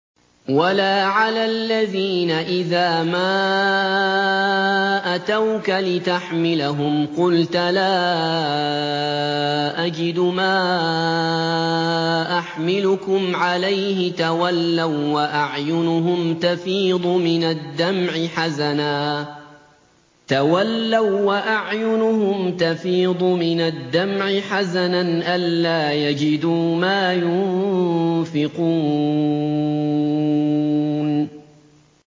وَلَا عَلَى الَّذِينَ إِذَا مَا أَتَوْكَ لِتَحْمِلَهُمْ قُلْتَ لَا أَجِدُ مَا أَحْمِلُكُمْ عَلَيْهِ تَوَلَّوا وَّأَعْيُنُهُمْ تَفِيضُ مِنَ الدَّمْعِ حَزَنًا أَلَّا يَجِدُوا مَا يُنفِقُونَ